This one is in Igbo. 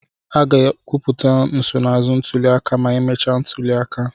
A ga-ekwupụta nsonaazụ ntuli aka ma emechaa ntuli aka.